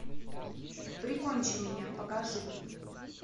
прикончи меня покажи